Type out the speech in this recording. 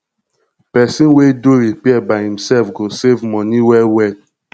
pesin wey do repair by imself go save moni well well